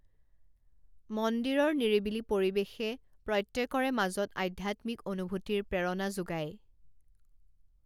মন্দিৰৰ নিৰিবিলি পৰিবেশে প্ৰত্যেকৰে মাজত আধ্যাত্মিক অনুভূতিৰ প্ৰেৰণা যোগায়৷